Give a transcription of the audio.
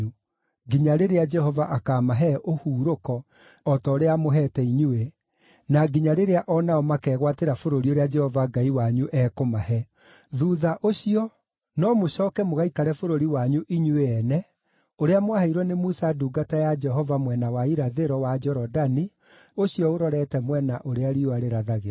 nginya rĩrĩa Jehova akaamahe ũhurũko o ta ũrĩa amũheete inyuĩ, na nginya rĩrĩa o nao makegwatĩra bũrũri ũrĩa Jehova Ngai wanyu ekũmahe. Thuutha ũcio, no mũcooke mũgaikare bũrũri wanyu inyuĩ ene, ũrĩa mwaheirwo nĩ Musa ndungata ya Jehova mwena wa irathĩro wa Jorodani, ũcio ũrorete mwena ũrĩa riũa rĩrathagĩra.”